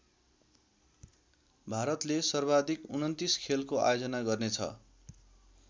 भारतले सर्वाधिक २९ खेलको आयोजना गर्ने छ।